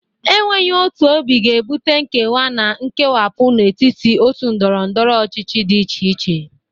Enweghi otu obi ga-ebute nkewa na nkewapu n'etiti otu ndọrọndọrọ ọchịchị dị iche iche.